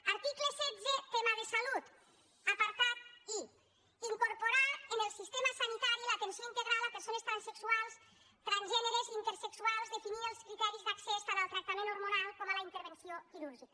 article setze tema de salut apartat i incorporar en el sistema sanitari l’atenció integral a persones transsexuals transgèneres i intersexuals definint els criteris d’accés tant al tractament hormonal com a la intervenció quirúrgica